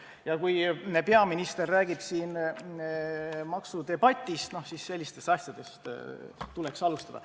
Ja kui peaminister räägib siin maksudebatist, siis sellistest asjadest tuleks alustada.